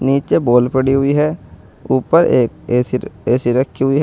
नीचे बॉल पड़ी हुई है ऊपर एक ए_सी र ए_सी रखी हुई है।